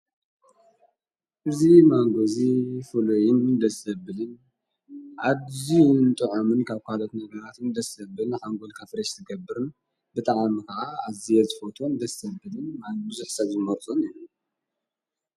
እዙ ማንጎዙ ፈሎይን ምደሰብልን ዓዙይ ንጥዖምን ካብ ኳለት ነገራት ምደሰብልን ሓንጎል ካፍሬሽ ትገብርን ብተኣምኻዓ ኣዘይየርዝ ፎቶን ደሰብልን ማንጕዙዕሠዙመርፆን እዩ።